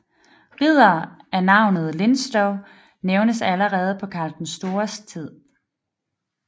Riddere af navnet Linstow nævnes allerede på Karl den Stores tid